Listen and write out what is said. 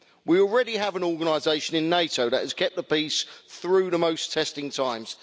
We already have an organisation in NATO that has kept the peace through the most testing times.